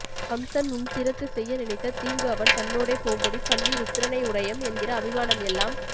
கம்சன் உன் திறத்து செய்ய நினைத்த தீங்கு அவன் தன்னோடே போம்படி பண்ணி ருத்ரனை உடையம் என்கிற அபிமானம் எல்லாம்